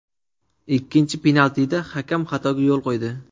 Ikkinchi penaltida hakam xatoga yo‘l quydi.